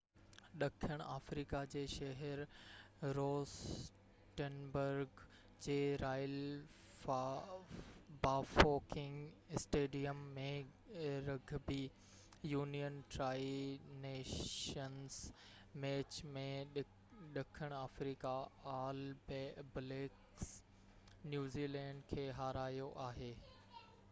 ڏکڻ آفريقا جي شهر روسٽنبرگ جي Royal Bafokeng Stadium ۾ rugby union Tri Nations match ۾ ڏکڻ آفريقا آل بليڪس نيوزي لينڊ کي هارايو آهي